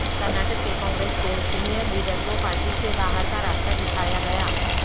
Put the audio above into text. کرناٹک کے کانگریس کے senior leader کو پارٹی سے باہر کا راستہ دکھایا گیا